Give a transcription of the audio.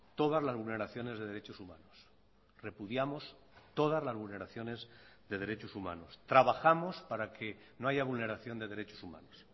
todas las vulneraciones de derechos humanos repudiamos todas las vulneraciones de derechos humanos trabajamos para que no haya vulneración de derechos humanos